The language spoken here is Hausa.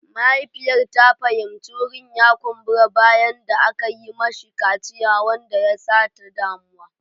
Mahaifiyar ta fahimci wurin ya kumbura bayan da aka yi mashi kaciya wanda ya sa ta damu.